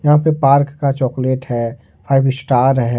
यहां पे पार्क का चॉकलेट है फाइव स्टार है।